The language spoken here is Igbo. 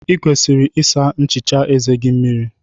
Ị kwesịrị ịsa nchicha eze gị mmiri.